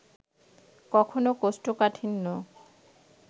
কখনো কোষ্ঠকাঠিন্য